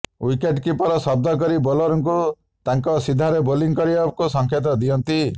wicket keeper ଶବ୍ଦ କରି ବୋଲରଙ୍କୁ ତାଙ୍କ ସିଧାରେ ବୋଲିଂ କରିବାକୁ ସଙ୍କେତ ଦିଅନ୍ତି